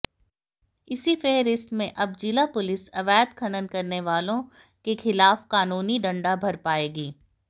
इसी फेहरिस्त में अब जिला पुलिस अवैध खनन करने वालांे के खिलाफ कानूनी डंडा बरपाएगी